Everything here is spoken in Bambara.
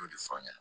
O de fɔ aw ɲɛna